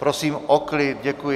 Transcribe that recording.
Prosím o klid, děkuji.